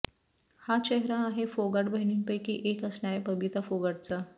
हा चेहरा आहे फोगाट बहिणींपैकी एक असणाऱ्या बबिता फोगाटचा